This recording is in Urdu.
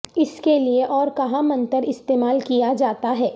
اس کے لئے اور کہاں منتر استعمال کیا جاتا ہے